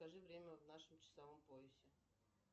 скажи время в нашем часовом поясе